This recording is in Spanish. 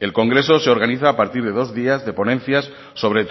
el congreso se organiza a partir de dos días de ponencias sobre